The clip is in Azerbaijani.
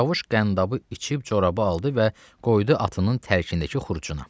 Çavuş qəndabı içib, corabı aldı və qoydu atının tərkindəki xurcuna.